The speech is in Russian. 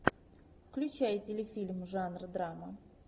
включай телефильм жанра драма